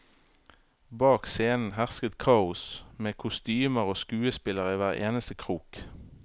Bak scenen hersket kaos, med kostymer og skuespillere i hver eneste krok.